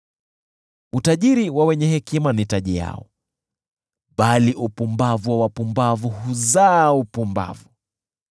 Utajiri wa wenye hekima ni taji yao, bali upumbavu wa wapumbavu huzaa upumbavu.